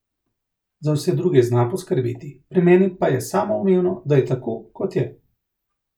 Za vse druge zna poskrbeti, pri meni pa je samoumevno, da je tako, kot je.